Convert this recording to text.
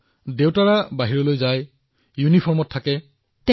আপোনাৰ পিতৃতো বাহিৰত থাকে ইউনিফৰ্মত থাকে